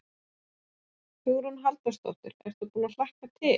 Hugrún Halldórsdóttir: Ertu búinn að hlakka til?